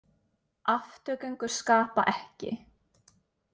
Afturgöngur skapa ekki.